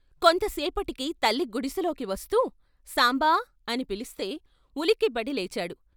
కొంత సేపటికి తల్లి గుడిసెలోకి వస్తూ "సాంబా" అని పిలిస్తే ఉలిక్కిపడి లేచాడు.